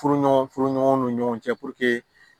Furuɲɔgɔn furuɲɔgɔnw ni ɲɔgɔn cɛ